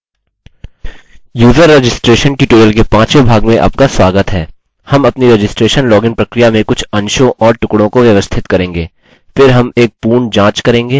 user registration tutorial के पाँचवे भाग में आपका स्वागत है हम अपनी रजिस्ट्रेशन लॉगिन प्रक्रिया में कुछ अंशों और टुकड़ों को व्यवस्थित करेंगे